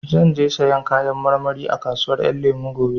Zan je sayan Kayan marmari a kasuwar Ƴan Lemu gobe